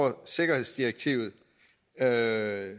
er